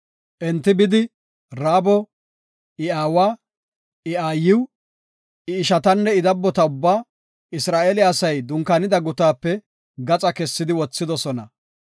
Enti bidi, Raabo, I aawa, I aayiw, I ishatanne I dabbota ubbaa Isra7eele asay dunkaanida gutaape gaxa kessidi wothidosona.